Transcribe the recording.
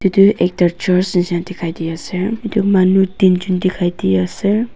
etu ekta church nisna dikhai di ase etu manu tin jon dikhai di ase.